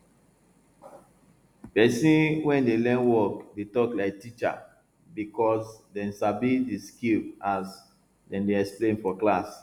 person wey dey learn work dey talk like teacher because dem sabi di skill as dem dey explain for class